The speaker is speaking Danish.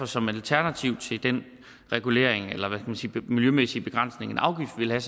som alternativ til den regulering eller miljømæssige begrænsning en afgift vil have